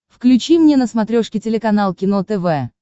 включи мне на смотрешке телеканал кино тв